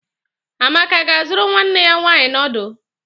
Amaka ga-azụrụ nwanne ya nwanyị noodu?